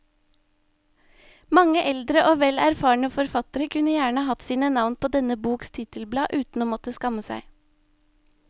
Mange eldre og vel erfarne forfattere kunne gjerne hatt sine navn på denne boks titelblad uten å måtte skamme seg.